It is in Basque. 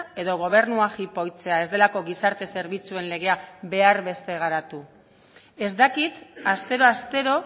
edo gobernua jipoitzea ez delako gizarte zerbitzuen legea behar beste garatu ez dakit astero astero